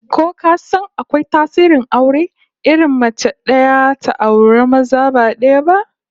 Ko ka san akwai tsarin aure irin na mace daya ta auri maza ba daya ba?